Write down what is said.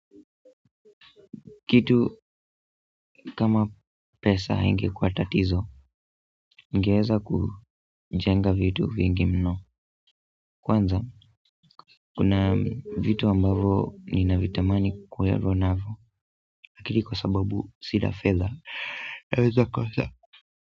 Kitu kama pesa haingekuwa tatizo ningeweza kujenga vitu vingi mno kwanza kuna vitu ambavo ninavitamani kulelewa navyo lakini kwa sababu sina fedha naweza kosa.